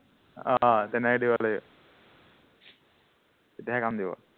আহ তেনেকে দিব লাগিব তেতিয়াহে কাম দিব